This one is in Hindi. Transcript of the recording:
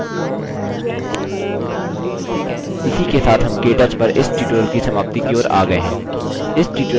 एक बार हम typing पूरी कर लेते हैं हम correctness field जाँचेंगे यह typing की विशुद्धता दर्शाता है